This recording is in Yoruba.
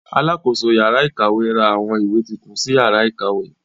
Alákoso yàrá ìkàwé ra àwọn ìwé titun sí yàrá ìkàwé.